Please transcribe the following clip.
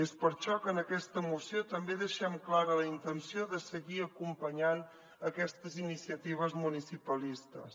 és per això que en aquesta moció també deixem clara la intenció de seguir acompanyant aquestes iniciatives municipalistes